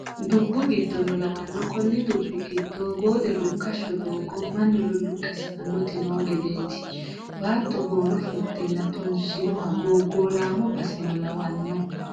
Dubbu giddono lawano koni dubbu giddo boode rukkasho doogo mannu luluqe sa"anoti no gedeti baatto boono fultenna tunsinoha gogolamo baseno lawano.